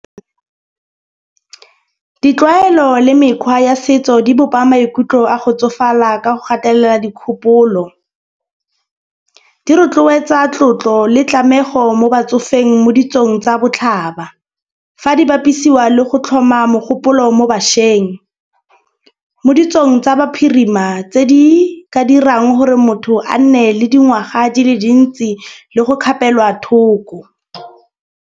Ditlwaelo le mekgwa ya setso di bopa maikutlo a go tsofala ka go gatelela dikgopolo. Di rotloetsa tlotlo le tlameho mo batsofeng mo ditsong tsa botlhaba. Fa di bapisiwa le go tlhoma mogopolo mo bašweng mo ditsong tsa baphirima tse di ka dirang gore motho a nne le dingwaga di le dintsi le go kgapelwa thoko.